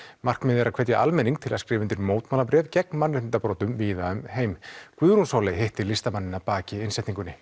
markmiðið er að hvetja almenning til að skrifa undir mótmælabréf gegn mannréttindabrotum víða um heim Guðrún Sóley hitti listamanninn að baki innsetningunni